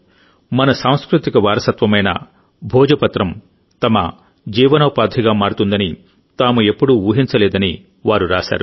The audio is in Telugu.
మన సాంస్కృతిక వారసత్వమైన భోజపత్రం తమ జీవనోపాధిగా మారుతుందని తాము ఎప్పుడూ ఊహించలేదని వారు రాశారు